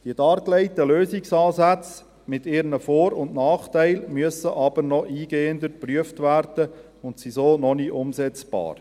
Die dargelegten Lösungsansätze mit ihren Vor- und Nachteilen müssen jedoch noch eingehender geprüft werden und sind so noch nicht umsetzbar.